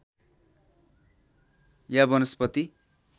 या वनस्पति